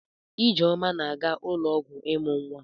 Ijeoma na-aga ụlọọgwụ ịmụ nwa.